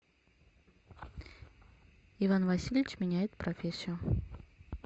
иван васильевич меняет профессию